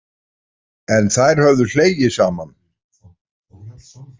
En þær höfðu hlegið saman.